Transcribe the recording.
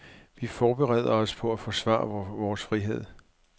Vi forbereder os på at forsvare vores frihed.